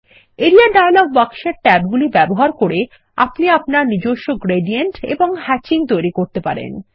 area dialogue বাক্সের ট্যাবগুলি ব্যবহার করে আপনি আপনার নিজস্ব গ্রেডিয়েন্ট এবং হ্যাচিং তৈরি করতে পারেন